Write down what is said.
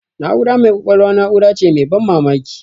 Na'ura mai kwakwalwa na'ura ce mai ban mamaki.